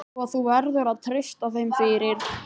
Svo þú verður að treysta þeim fyrir.